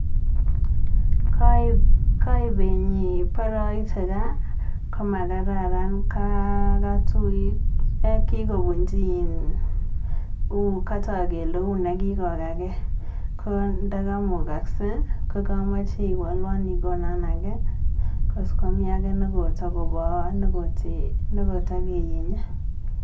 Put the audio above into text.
Kaib benyi baraite gaa komakararan, kikobunji um katau kele uni kikokake nda imukakse kokamache iwolwon ikonon age tos komi age kota koba ne katekienye.